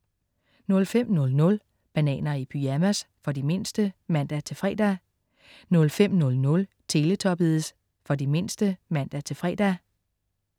05.00 Bananer i pyjamas. For de mindste (man-fre) 05.05 Teletubbies. For de mindste (man-fre)